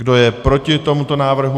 Kdo je proti tomuto návrhu?